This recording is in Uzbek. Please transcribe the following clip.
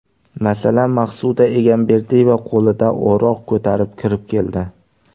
Masalan, Maqsuda Egamberdiyeva qo‘lida o‘roq ko‘tarib kirib keldi.